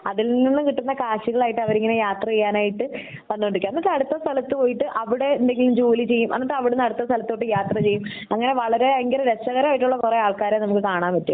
അതിൽ നിന്ന് കിട്ടുന്ന കാശുകളായിട്ട് അവരിങ്ങനെ യാത്ര ചെയ്യാനായിട്ട് വന്നോടിരിക്കെ എന്നിട്ട് അടുത്ത സ്ഥലത് പോയിട്ട് അവിടെ എന്തെങ്കിലും ജോലി ചെയ്യും അന്നിട്ട് അവിടുന്ന് അടുത്ത സ്ഥലത്തോട്ട് യാത്ര ചെയ്യും അങ്ങിനെ വളരേ ഭയങ്കര രസകരമായിട്ടുള്ള കൊറേ ആൾക്കാരെ നമുക്ക് കാണാൻ പറ്റും